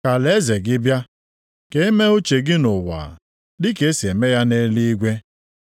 Ka alaeze gị bịa, ka e mee uche gị nʼụwa, dịka e si eme ya nʼeluigwe.